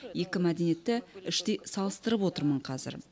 екі мәдениетті іштей салыстырып отырмын қазір